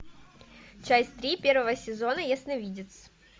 часть три первого сезона ясновидец